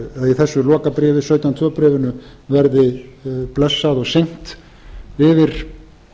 í þessu lokabréfi sautján til tveggja bréfinu verði blessað og signt yfir